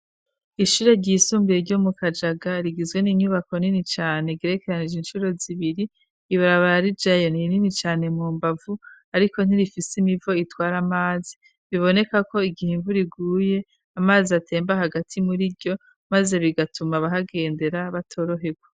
Ishure ryisumbuye ryo mu Kajaga, rigizwe n'inyubako nini cane girekeranije incuro zibiri, ibarabara rijayo ni rinini cane mu mbavu, ariko ntirifise imivo itwara amazi, biboneka ko igihe imvura iguye amazi atemba hagati muri ryo, maze bigatuma abahagendera batorohegwa.